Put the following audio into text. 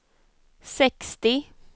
sextio